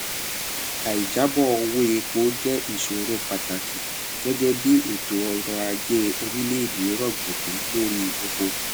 aì jábọ owó epo jẹ ìṣòro pàtàkì gẹgẹ bí ètò ọrọ ajé orílẹèdè rọgbọkú lórí epo